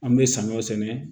An bɛ samiya sɛnɛ